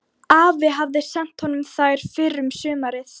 Afi hafði sent honum þær fyrr um sumarið.